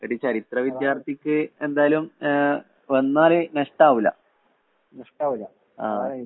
ഒരു ചരിത്ര വിദ്യാർത്ഥിക്ക് എന്തായാലും ആഹ് വന്നാല് നഷ്ടാവൂല്ല. ആഹ്.